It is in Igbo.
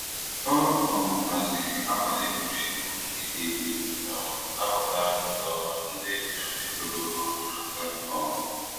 Ọ um haziri abalị egwuregwu nkịtị iji um nabata nke ọma ndị enyi ha metara ọhụrụ aka um